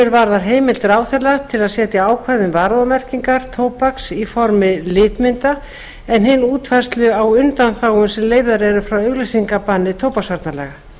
önnur varðar heimild ráðherra til að setja ákvæði um varúðarmerkingar tóbaks í formi litmynda en hin útfærslu á undanþágum sem leyfðar eru frá auglýsingabanni tóbaksvarnalaga